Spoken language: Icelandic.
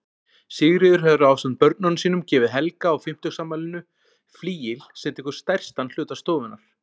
Sigríður hefur ásamt börnunum gefið Helga á fimmtugsafmælinu flygil, sem tekur stærstan hluta stofunnar.